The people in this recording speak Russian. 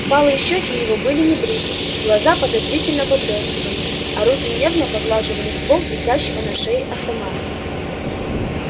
впалые щёки его были небриты глаза подозрительно поблёскивали а руки нервно поглаживали ствол висящего на шее автомата